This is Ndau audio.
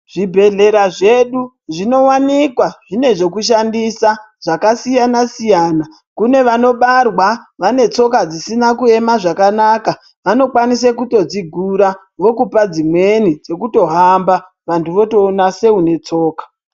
Zvibhedhlera zvedu zvinovanikwa zvine zvokushandisa zvakasiyana-siyana. Kune vanobarwa vanetsoka dzisina kuema zvakanaka vanokwanise kutodzigura vokupa dzimweni dzekutohamba vantu votoona seune tsoka.